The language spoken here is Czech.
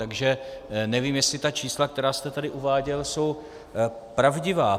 Takže nevím, jestli ta čísla, která jste tady uváděl, jsou pravdivá.